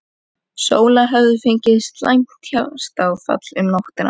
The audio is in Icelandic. Sóla hefði fengið slæmt hjartaáfall um nóttina.